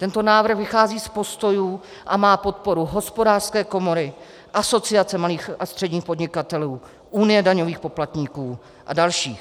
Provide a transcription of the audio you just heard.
Tento návrh vychází z postojů a má podporu Hospodářské komory, Asociace malých a středních podnikatelů, Unie daňových poplatníků a dalších.